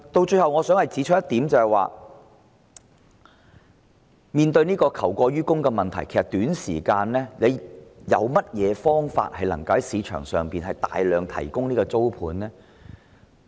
最後我想指出的一點，是面對求過於供的問題，其實有何方法於短時間內在市場上提供大量租盤呢？